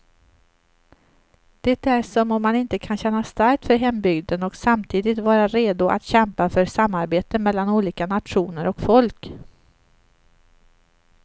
Det är som om man inte kan känna starkt för hembygden och samtidigt vara redo att kämpa för samarbete mellan olika nationer och folk.